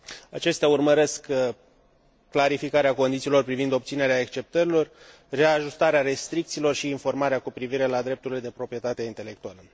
Acestea urmăresc clarificarea condițiilor privind obținerea exceptărilor, reajustarea restricțiilor și informarea cu privire la drepturile de proprietate intelectuală.